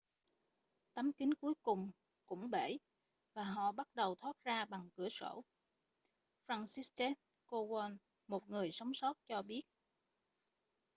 một tấm kính cuối cùng cũng bể và họ bắt đầu thoát ra bằng cửa sổ franciszek kowal một người sống sót cho biết